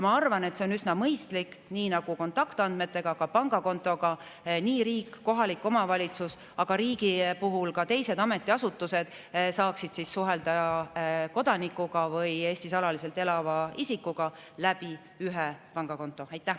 Ma arvan, et oleks üsna mõistlik, kui nii, nagu on kontaktandmete puhul, oleks ka pangakonto puhul, et riik ja kohalik omavalitsus, aga ka riigi teised ametiasutused saaksid suhelda kodanikuga või Eestis alaliselt elava isikuga ühe pangakonto kaudu.